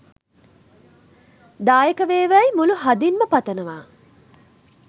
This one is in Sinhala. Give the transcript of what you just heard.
දායක වේවායි මුළු හදින්ම පතනවා